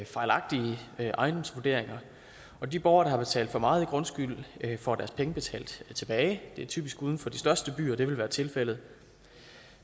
fejlagtige ejendomsvurderinger og de borgere der har betalt for meget i grundskyld får deres penge betalt tilbage det er typisk uden for de største byer det vil være tilfældet